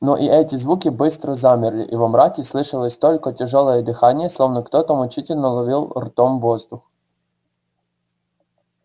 но и эти звуки быстро замерли и во мраке слышалось только тяжёлое дыхание словно кто то мучительно ловил ртом воздух